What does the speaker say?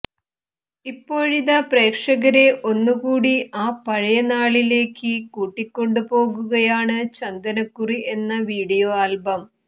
ഇപ്പോഴിത പ്രേക്ഷകരെ ഒന്നുകൂടി ആ പഴയ നാളിലേയ്ക്ക് കൂട്ടിക്കൊണ്ടു പോകുകയാണ് ചന്ദനക്കുറി എന്ന വീഡിയോ ആൽബം